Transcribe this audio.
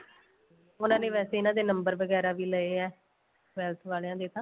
ਉਹਨਾ ਨੇ ਵੈਸੇ ਇਹਨਾ ਦੇ number ਵਗੈਰਾ ਵੀ ਲਏ ਏ palace ਵਾਲਿਆ ਨੇ ਤਾਂ